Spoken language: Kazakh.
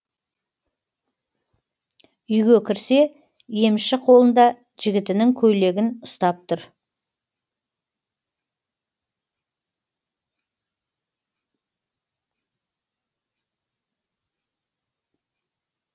үйге кірсе емші қолында жігітінің көйлегін ұстап тұр